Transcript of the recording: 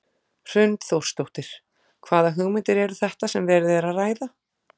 Hrund Þórsdóttir: Hvaða hugmyndir eru þetta sem verið er að ræða?